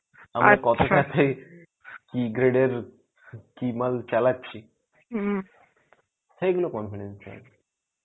কি gread এর কি মাল চালাচ্ছি সেইগুলো confidential.